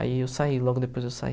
Aí eu saí, logo depois eu saí.